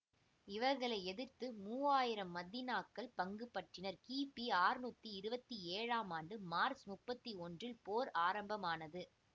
இவர்களை எதிர்த்து மூவாயிரம் மதீனாக்கள் பங்குபற்றினர் கிபி அறுநூற்றி இருபத்தி ஏழாம் ஆண்டு மார்ச் முப்பத்தி ஒன்றில் போர் ஆரம்பமானது